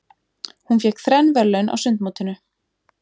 Hún fékk þrenn verðlaun á sundmótinu.